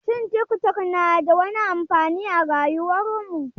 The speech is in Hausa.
Shin tik tok na da wani amfani a rayuwar mu?